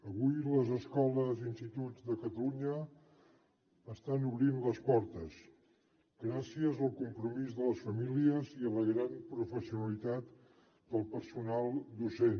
avui les escoles i instituts de catalunya estan obrint les portes gràcies al compromís de les famílies i a la gran professionalitat del personal docent